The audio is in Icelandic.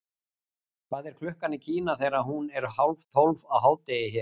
hvað er klukkan í kína þegar hún er tólf á hádegi hér